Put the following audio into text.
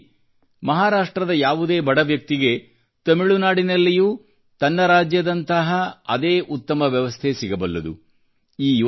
ಇದೇ ರೀತಿ ಮಹಾರಾಷ್ಟ್ರದ ಯಾವುದೇ ಬಡ ವ್ಯಕ್ತಿಗೆ ತಮಿಳುನಾಡಿನಲ್ಲಿಯೂ ತನ್ನ ರಾಜ್ಯದಂಥ ಅದೇ ಉತ್ತಮ ವ್ಯವಸ್ಥೆ ಸಿಗಬಲ್ಲದು